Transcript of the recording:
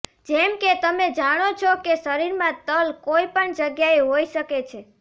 જેમ કે તમે જાણો છો કે શરીરમાં તલ કોઈ પણ જગ્યાએ હોઈ શકે છે